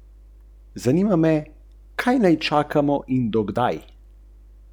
Črni gozd, mrak, noč, demoni in njihove temne moči, razpoka med dnevom in nočjo.